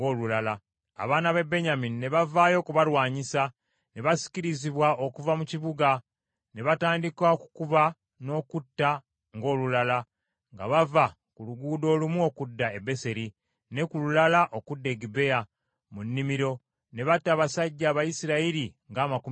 Abaana ba Benyamini ne bavaayo okubalwanyisa ne basikirizibwa okuva mu kibuga, ne batandika okukuba n’okutta ng’olulala, nga bava ku luguudo olumu okudda e Beseri, ne ku lulala oludda e Gibea mu nnimiro. Ne batta abasajja Abayisirayiri ng’amakumi asatu.